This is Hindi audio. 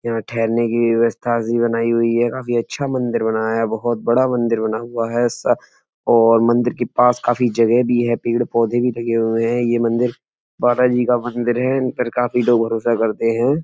यहाँ ठहरने की विवस्था ज़ी बनाई हुई है। काफी अच्छा मंदिर बनाया है। बोहोत बड़ा मंदिर बना हुआ है सा और मंदिर की पास काफी जगह भी है। पेड़-पौधे भी लगे हुएं हैं। ये मंदिर बाला जी का मंदिर है। इन पर काफी लोग भरोसा करते हैं।